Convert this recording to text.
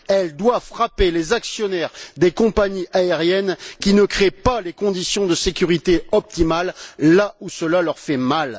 Elle doit frapper les actionnaires des compagnies aériennes qui ne créent pas les conditions de sécurité optimales là où cela leur fait mal.